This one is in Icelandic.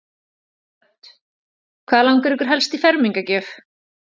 Hödd: Hvað langar ykkur helst í fermingargjöf?